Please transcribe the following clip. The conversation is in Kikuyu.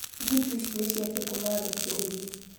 Mbutu ici nĩ ciake ciake kũmandĩkĩrĩria